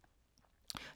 TV 2